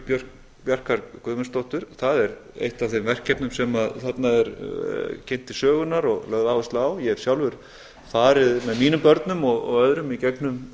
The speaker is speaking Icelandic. biophilia bjarkar guðmundsdóttur það er eitt af þeim verkefnum sem þarna er kynnt til sögunnar og lögð áhersla á ég hef sjálfur farið með mínum börnum og öðrum í gegnum